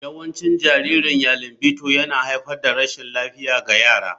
Yawancin jaririn yeilingbto yana haifar da rashin lafiya ga yara.